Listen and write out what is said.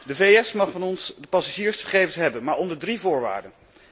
De VS mag van ons passagiersgegevens hebben, maar onder drie voorwaarden.